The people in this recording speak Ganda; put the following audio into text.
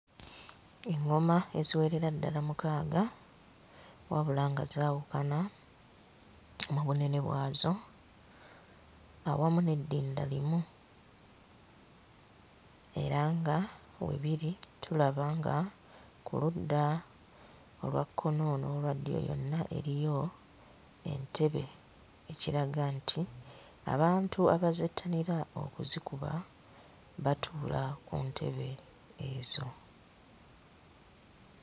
Eᵑᵑoma eziwerera ddala mukaaga wabula nga zaawukana mu bunene bwazo awamu n'eddinda limu era nga we biri tulaba nga ku ludda olwa kkono n'olwa ddyo yonna eriyo entebe ekiraga nti abantu abazettanira okuzikuba batuula mu ntebe ezo.